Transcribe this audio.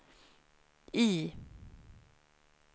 I